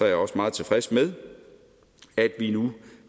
jeg også meget tilfreds med at vi nu